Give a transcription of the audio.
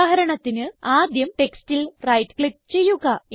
ഉദാഹരണത്തിന് ആദ്യം ടെക്സ്റ്റിൽ റൈറ്റ് ക്ലിക്ക് ചെയ്യുക